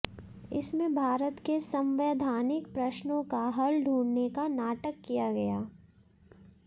इसमें भारत के संवैधानिक प्रश्नों का हल ढूंढ़ने का नाटक किया गया